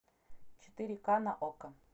четыре ка на окко